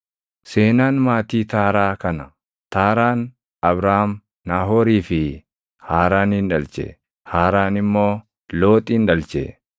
Seenaan maatii Taaraa kana. Taaraan Abraam, Naahoorii fi Haaraanin dhalche. Haaraan immoo Looxin dhalche.